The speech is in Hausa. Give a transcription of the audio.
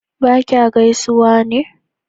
ba kya gaisuwa ne?